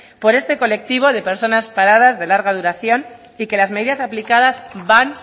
por este colectivo de personas paradas de larga duración y que las medidas aplicadas van